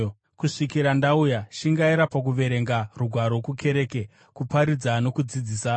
Kusvikira ndauya, shingaira pakuverenga Rugwaro kukereke, kuparidza nokudzidzisa.